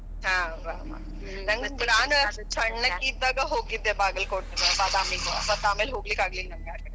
ಹಾ ಬಾ ಬಾ ನಂಗ್ ನಾನ್ ಸ~ ಸಣಕಿ ಇದ್ದಾಗ ಹೋಗಿದ್ದೆ ಬಾಗಲಕೋಟಿ, ಬಾದಾಮಿಗೆ ಮತ್ ಆಮೇಲ ಹೋಗಲಿಕ್ ಆಗಲಿಲ್ಲ ,